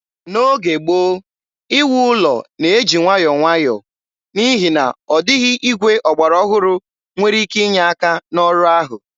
N'oge gboo, iwu ụlọ na-eji nwayọọ nwayọọ, n'ihi na ọ dịghị igwe ọgbara ọhụrụ nwere ike inye aka n'ọrụ ahụ.